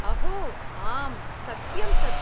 अहो आम्, सत्यं तत्।